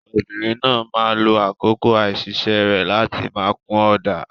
Obìnrin náà máa lo àkókò àìsiṣẹ́ rẹ̀ láti máa kun ọ̀dà.